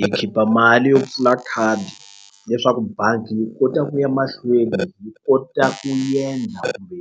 Hi khipha mali yo pfula khadi leswaku bangi yi kota ku ya mahlweni yi kota ku endla kumbe